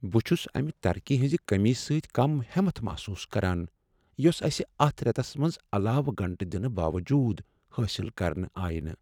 بہٕ چھس امہ ترقی ہنٛز کٔمی سۭتۍ کم ہٮ۪مت محسوس کران یۄس اسہ اتھ ریتس منٛز علاوٕ گنٛٹہ دِنہٕ باوجود حٲصل كرنہٕ آیہ نہ ۔